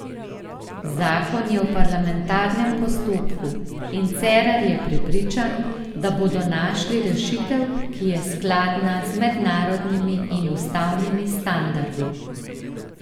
Zakon je v parlamentarnem postopku in Cerar je prepričan, da bodo našli rešitev, ki je skladna z mednarodnimi in ustavnimi standardi.